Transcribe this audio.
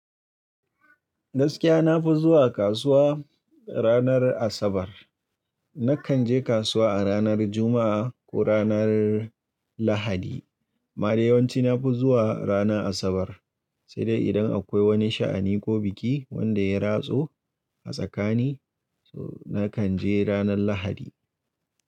Gaskiya nafi zuwa kasuwa ranar Asabar. Nakan je kasuwa a ranar Juma'a ko ranar Lahadi. Amma dai yawanci nafi zuwa ranar Asabar, sai dai idan akwai wani sha'ani ko biki wanda ya ratso a tsakani, nakan je ranar Lahadi.